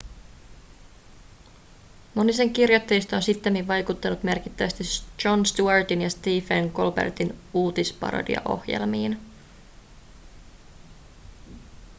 moni sen kirjoittajista on sittemmin vaikuttanut merkittävästi jon stewartin ja stephen colbertin uutisparodiaohjelmiin